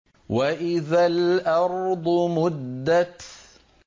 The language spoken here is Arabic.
وَإِذَا الْأَرْضُ مُدَّتْ